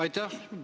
Aitäh!